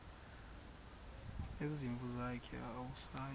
nezimvu zakhe awusayi